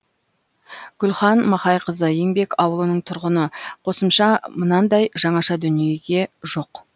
гүлхан махайқызы еңбек ауылының тұрғыны қосымша мынандай жаңаша дүниеге жоқ